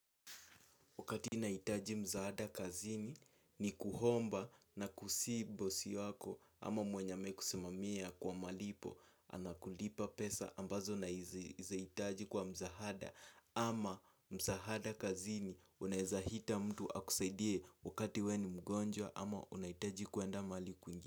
Wakati nahitaji msaada kazini ni kuomba na kusihi bosi wako ama mwenye amekusimamia kwa malipo. Anakulipa pesa ambazo nazihitaji kwa msaada ama msaada kazini unawezaita mtu akusaidie wakati wewe ni mgonjwa ama unahitaji kuenda mahali kwingine.